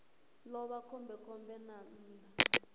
ḓo vha khombekhombe nga nnḓa